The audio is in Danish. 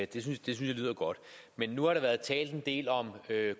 det synes jeg lyder godt nu har der været talt en del om